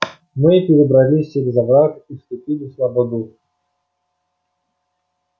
мы перебрались через овраг и вступили в слободу